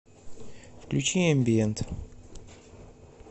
включи эмбиент